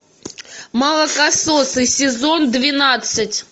молокососы сезон двенадцать